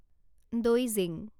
দৈজিং